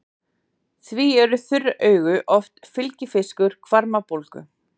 Því eru þurr augu oft fylgifiskur hvarmabólgu.